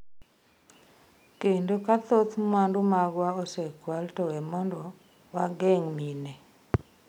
Kendo ka thoth mwandu magwa osekwalo to we mondo wageng’ mine.